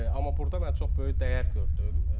Amma burda mən çox böyük dəyər gördüm.